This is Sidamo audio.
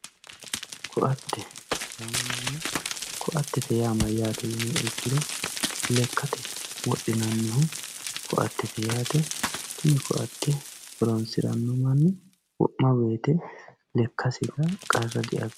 koatte yaamamanno koatte yaa mayyate yiniha ikkiro lekkate wodhinannihu koattete yaate tenne koatte horonsiranno manni wo'ma wote lekkasira qarra diabbiranno.